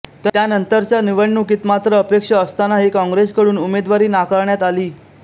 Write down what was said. त्यानंतरच्या निवडणुकीत मात्र अपेक्षा असतानाही काँग्रेसकडून उमेदवारी नाकारण्यात आली